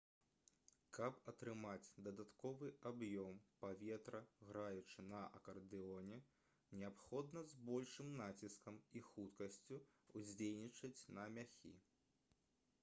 каб атрымаць дадатковы аб'ём паветра граючы на акардэоне неабходна з большым націскам і хуткасцю ўздзейнічаць на мяхі